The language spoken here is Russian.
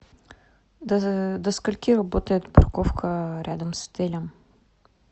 до скольки работает парковка рядом с отелем